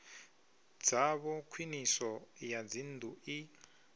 dzavho khwiniso ya dzinnḓu i